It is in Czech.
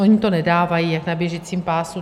Oni to nedávají jak na běžícím pásu.